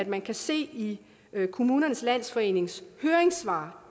man kan se i kommunernes landsforenings høringssvar